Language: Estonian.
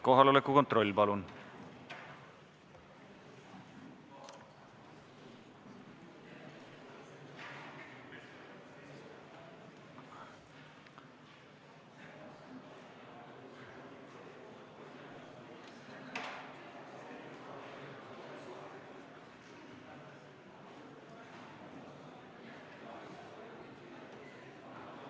Kohaloleku kontroll, palun!